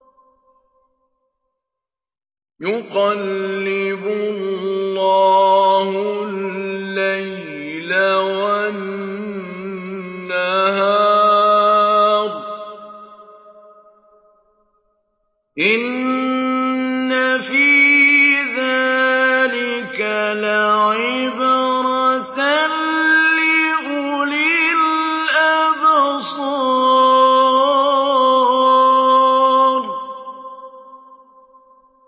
يُقَلِّبُ اللَّهُ اللَّيْلَ وَالنَّهَارَ ۚ إِنَّ فِي ذَٰلِكَ لَعِبْرَةً لِّأُولِي الْأَبْصَارِ